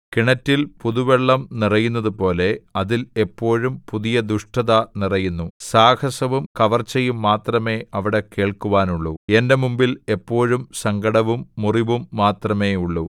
കിണറ്റിൽ പുതുവെള്ളം നിറയുന്നതുപോലെ അതിൽ എപ്പോഴും പുതിയ ദുഷ്ടത നിറയുന്നു സാഹസവും കവർച്ചയും മാത്രമേ അവിടെ കേൾക്കുവാനുള്ളു എന്റെ മുമ്പിൽ എപ്പോഴും സങ്കടവും മുറിവും മാത്രമേയുള്ളു